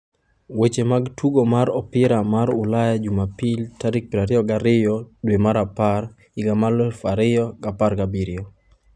Weche mag Tugo mar Opira mar Ulaya Jumapil tarik 22.10.2017